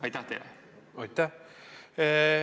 Aitäh!